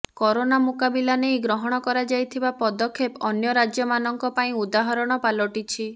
corona ମୁକାବିଲା ନେଇ ଗ୍ରହଣ କରାଯାଇଥିବା ପଦକ୍ଷେପ ଅନ୍ୟ ରାଜ୍ୟମାନଙ୍କ ପାଇଁ ଉଦାହରଣ ପାଲଟିଛି